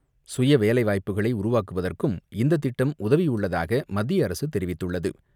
சுய வேலை வாய்ப்புகளை உருவாக்குவதற்கும் இந்த திட்டம் உதவியுள்ளதாக மத்திய அரசு தெரிவித்துள்ளது.